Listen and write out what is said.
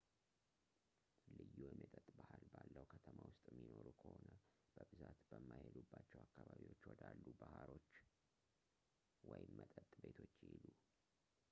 ልዩ የመጠጥ ባህል ባለው ከተማ ውስጥ የሚኖሩ ከሆነ በብዛት በማይሄዱባቸው አካባቢዎች ወዳሉ ባሮች ወይም መጠጥ ቤቶች ይሂዱ